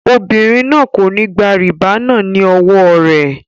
Obìnrin náà kò ní gba rìbá náà ní owó rẹ.